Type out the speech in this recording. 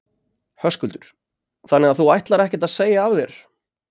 Höskuldur: Þannig að þú ætlar ekkert að segja af þér?